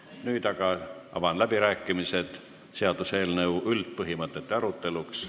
Nüüd aga avan läbirääkimised seaduseelnõu üldpõhimõtete aruteluks.